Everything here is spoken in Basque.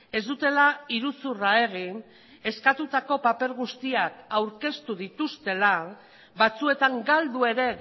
ez dutela iruzurra egin eskatutako paper guztiak aurkeztu dituztela batzuetan galdu ere